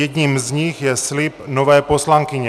Jedním z nich je slib nové poslankyně.